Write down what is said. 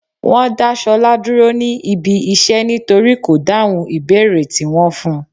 Wọ́n dá Ṣọlá dúró ní ibi iṣẹ́ nítorí kò dáhùn ìbéèrè tí wón fun.